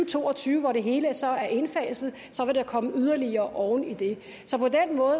to og tyve hvor det hele så er indfaset vil der komme yderligere oven i det